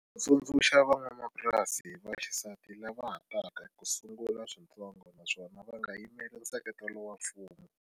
U tsundzuxa van'wamapurasi va xisati lava ha taka ku sungula switsongo naswona va nga yimeli nseketelo wa mfumo.